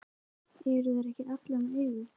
Eru þær ekki allar með augu?